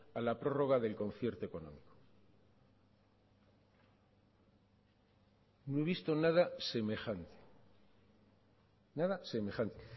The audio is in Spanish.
a la prórroga del concierto económico no he visto nada semejante nada semejante